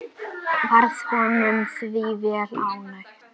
Varð honum því vel ágengt.